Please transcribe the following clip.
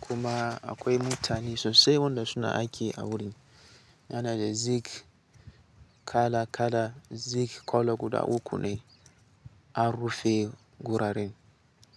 kuma akwai mutane sosai wanda suna aiki a wurin. Yana da zik kala kala, zik kolo guda uku ne an rufe guraren.